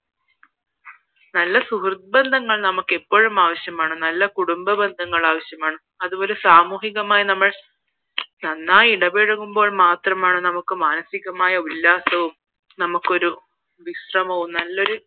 നല്ലൊരു സുഹൃത്ത് ബന്ധങ്ങൾ നമ്മുക്ക് എപ്പോഴും ആവശ്യമാണ് നല്ല കുടുംബ ബന്ധങ്ങൾ ആവശ്യമാണ് അതുപോലെ തന്നെ സാമൂഹികമായി നമ്മൾ ഇടപഴകുമ്പോൾ മാത്രമാണ് മാനസികമായ ഉല്ലാസവും വിശ്രമവും നല്ലൊരു